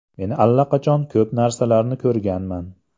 Men allaqachon ko‘p narsalarni ko‘rganman.